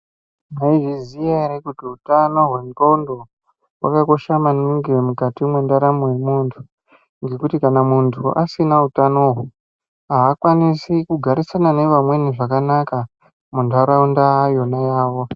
Maizviziya ere kuti utano hwendxondo hwakakosha maningi mukati mweraramo yemuntu? Ngekuti kana muntu asina utanoho haakwanisi kugarisana nevamweni zvakanaka muntaraunda yonayo.